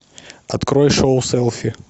открой шоу селфи